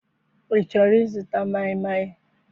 I chọrọ ịzụta maịmaị?